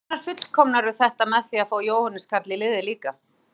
Hvenær fullkomnarðu þetta með því að fá Jóhannes Karl í liðið líka?